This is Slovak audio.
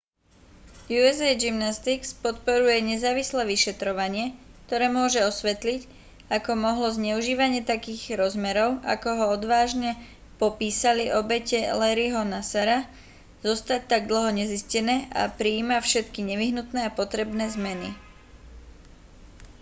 usa gymnastics podporuje nezávislé vyšetrovanie ktoré môže osvetliť ako mohlo zneužívanie takých rozmerov ako ho odvážne popísali obete larryho nassara zostať tak dlho nezistené a prijíma všetky nevyhnutné a potrebné zmeny